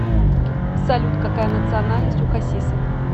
салют какая национальность у хасиса